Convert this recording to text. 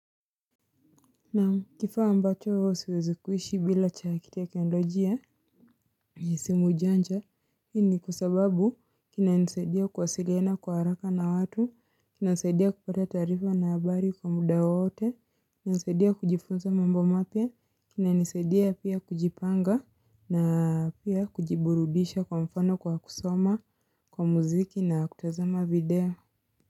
Na kifaa ambacho siwezikuishi bila cha ki teknolojia. Ni simu janja, hii ni kwa sababu kina nisaidia kuwasiliana kwa haraka na watu, kina nisaidia kupata tarifa na habari kwa muda wowote, kina nisaidia kujifunza mambo mapya, kina nisaidia pia kujipanga na pia kujiburudisha kwa mfano kwa kusoma, kwa muziki na kutazama video.